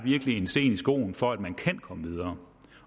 en sten i skoen for at man kan komme videre